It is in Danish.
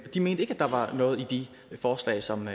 de mente ikke at der var noget i de forslag som